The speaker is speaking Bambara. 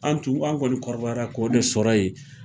An tun ani kɔni b'a fɔ kɔrɔbɔrɔ kanna o de ye sɔrɔ ye.